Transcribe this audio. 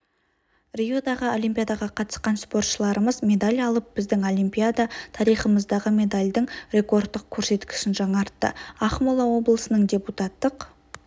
риодағы олимпиадаға қатысқан спортшыларымыз медаль алып біздің олимпиада тарихымыздағы медальдің рекордтық көрсеткішін жаңартты ақмола облысының депутаттық